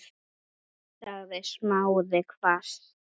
sagði Smári hvasst.